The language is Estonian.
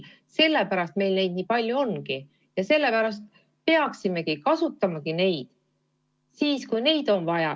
Sellepärast meil neid nii palju ongi ja sellepärast peaksimegi kasutama just neid.